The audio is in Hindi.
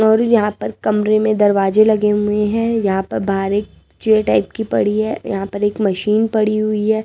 और यहां पर कमरे में दरवाजे लगे हुए हैं यहां पर बाहर एक चेयर टाइप की पड़ी है यहां पर एक मशीन पड़ी हुई है।